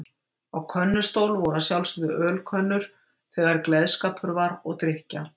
Á könnustól voru að sjálfsögðu ölkönnur þegar gleðskapur var og drykkja.